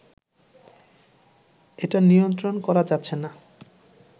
এটা নিয়ন্ত্রণ করা যাচ্ছে না